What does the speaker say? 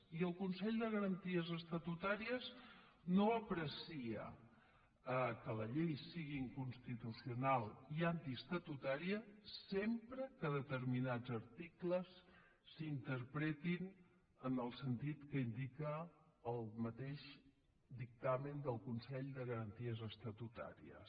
i el consell de garanties estatutàries no aprecia que la llei sigui inconstitucional i antiestatutària sempre que determinats articles s’interpretin en el sentit que indica el mateix dictamen del consell de garanties estatutàries